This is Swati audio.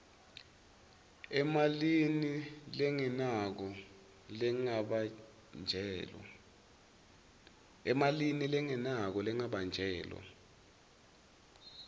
emalini lengenako lengabanjelwa